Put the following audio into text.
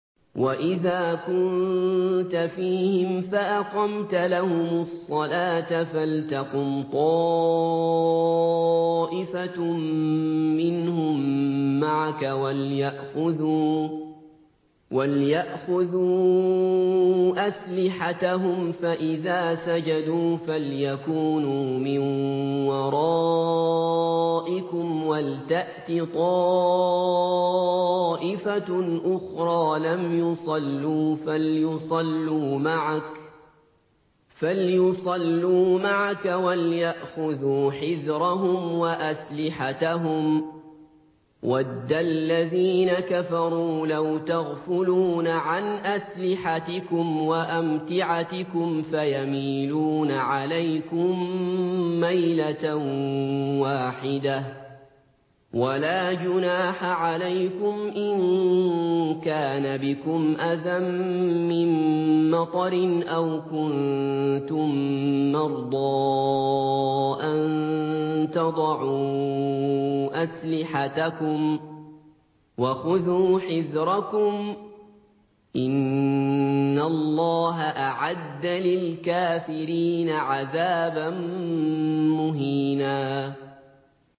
وَإِذَا كُنتَ فِيهِمْ فَأَقَمْتَ لَهُمُ الصَّلَاةَ فَلْتَقُمْ طَائِفَةٌ مِّنْهُم مَّعَكَ وَلْيَأْخُذُوا أَسْلِحَتَهُمْ فَإِذَا سَجَدُوا فَلْيَكُونُوا مِن وَرَائِكُمْ وَلْتَأْتِ طَائِفَةٌ أُخْرَىٰ لَمْ يُصَلُّوا فَلْيُصَلُّوا مَعَكَ وَلْيَأْخُذُوا حِذْرَهُمْ وَأَسْلِحَتَهُمْ ۗ وَدَّ الَّذِينَ كَفَرُوا لَوْ تَغْفُلُونَ عَنْ أَسْلِحَتِكُمْ وَأَمْتِعَتِكُمْ فَيَمِيلُونَ عَلَيْكُم مَّيْلَةً وَاحِدَةً ۚ وَلَا جُنَاحَ عَلَيْكُمْ إِن كَانَ بِكُمْ أَذًى مِّن مَّطَرٍ أَوْ كُنتُم مَّرْضَىٰ أَن تَضَعُوا أَسْلِحَتَكُمْ ۖ وَخُذُوا حِذْرَكُمْ ۗ إِنَّ اللَّهَ أَعَدَّ لِلْكَافِرِينَ عَذَابًا مُّهِينًا